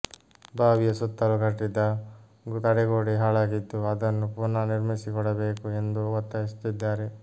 ಬಾವಿಯ ಸುತ್ತಲೂ ಕಟ್ಟಿದ್ದ ತಡೆಗೋಡೆ ಹಾಳಾಗಿದ್ದು ಅದನ್ನು ಪುನಃ ನಿರ್ಮಿಸಿಕೊಡಬೇಕು ಎಂದು ಒತ್ತಾಯಿಸುತ್ತಿದ್ದಾರೆ